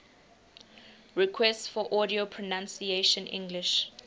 requests for audio pronunciation english